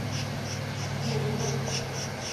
нюрбы